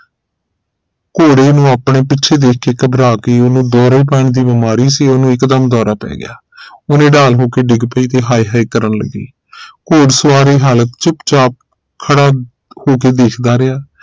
ਘੋੜੇ ਨੂੰ ਆਪਣੇ ਪੀਛੇ ਦੇਖ ਕੇ ਘਬਰਾ ਗਈ ਉਹਨੂੰ ਦੌਰੇ ਪੈਣ ਦੀ ਬੀਮਾਰੀ ਸੀ ਉਹਨੂੰ ਇਕ ਦਮ ਦੌਰਾ ਪੈ ਗਿਆ ਉਹ ਨਿਢਾਲ ਹੋਕੇ ਡਿੱਗ ਪਈ ਤੇ ਹਾਏ ਹਾਏ ਕਰਨ ਲੱਗੀ ਘੁੜਸਵਾਰ ਇਹ ਹਾਲਤ ਚੁਪਚਾਪ ਖੜਾ ਹੋਕੇ ਦੇਖਦਾ ਰਿਹਾ